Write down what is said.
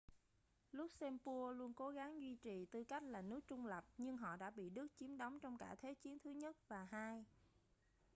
luxembourg luôn cố gắng duy trì tư cách là nước trung lập nhưng họ đã bị đức chiếm đóng trong cả thế chiến i và ii